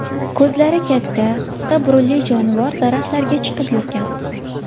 Ko‘zlari katta, qisqa burunli jonivor daraxtlarga chiqib yurgan.